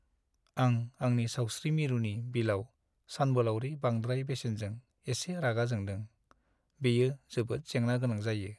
आं आंनि सावस्रि मिरुनि बिलाव सानबोलावरि बांद्राय बेसेनजों एसे रागा जोंदों, बेयो जोबोद जेंना गोनां जायो।